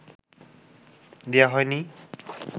দেয়া হয় নি